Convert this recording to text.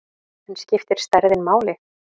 En skiptir stærðin máli?